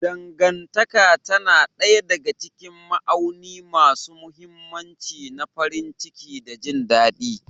Dangantaka tana ɗaya daga cikin ma'auni masu mahimmanci na farin ciki da jin daɗi.